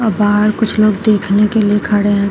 बाहर कुछ लोग देखने के लिए खड़े है।